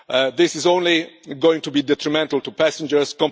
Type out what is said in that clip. This is only going to be detrimental to passengers.